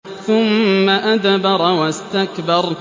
ثُمَّ أَدْبَرَ وَاسْتَكْبَرَ